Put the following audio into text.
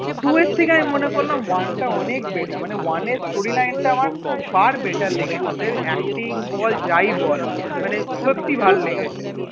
two এর থেকে আমি মনে করলাম one টা অনেক better মানে one এর storyline টা far better লেগেছে ওদের acting বল যাই বল মানে সত্যি ভালো লেগেছে